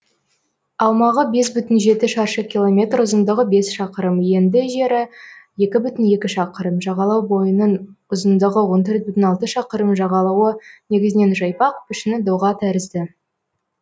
аумағы бес бүтін жеті шаршы километр ұзындығы бес шақырым енді жері екі бүтін екі шақырым жағалау бойының ұзындығы он төрт бүтін алты шақырым жағалауы негізінен жайпақ пішіні доға тәрізді